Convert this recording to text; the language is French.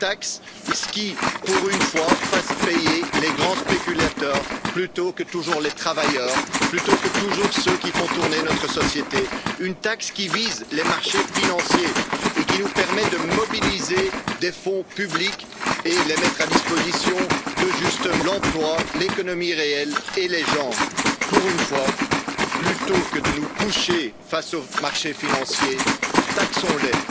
Une vraie taxe, qui, pour une fois, fasse payer les grands spéculateurs plutôt que toujours les travailleurs, plutôt que toujours ceux qui font tourner notre société. Une taxe qui vise les marchés financiers et qui nous permette de mobiliser des fonds publics et de les mettre justement à disposition de l'emploi, de l'économie réelle et des gens. Pour une fois, plutôt que de nous coucher face aux marchés financiers, taxons les!